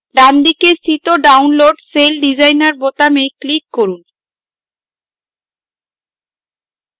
ডানদিকে স্থিত download celldesigner বোতামে click করুন